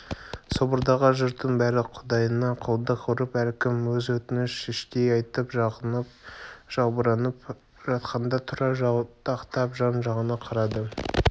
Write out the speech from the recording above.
собордағы жұрттың бәрі құдайына құлдық ұрып әркім өз өтінішін іштей айтып шағынып-жалбарынып жатқанда тұрар жалтақтап жан-жағына қарайды